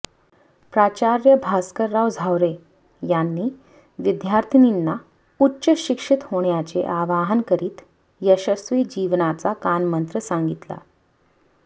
प्राचार्य भास्करराव झावरे यांनी विद्यार्थिनींना उच्च शिक्षित होण्याचे आवाहन करीत यशस्वी जीवनाचा कानमंत्र सांगितला